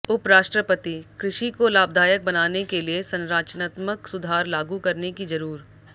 उपराष्ट्रपतिः कृषि को लाभदायक बनाने के लिए संरचनात्मक सुधार लागू करने की जरूर